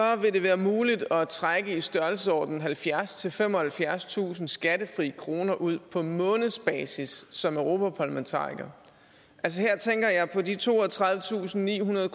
det være muligt at trække i størrelsesordenen halvfjerdstusind femoghalvfjerdstusind skattefri kroner ud på månedsbasis som europaparlamentariker her tænker jeg på de toogtredivetusinde og nihundrede